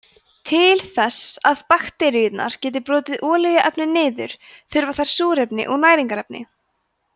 til þess að bakteríurnar geti brotið olíuefni niður þurfa þær súrefni og næringarefni